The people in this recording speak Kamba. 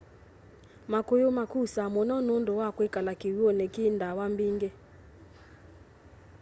makuyu makusa muno nundu wa kwikala kiw'uni ki na ndawa mbingi